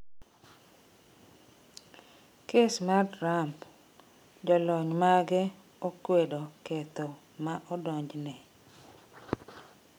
Kes mar Trump: Olony mage okweto ketho ma odonjne